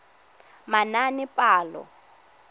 manaanepalo